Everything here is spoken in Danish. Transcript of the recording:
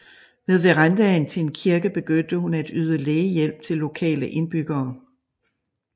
Ved verandaen til en kirke begyndte hun at yde lægehjælp til lokale indbyggere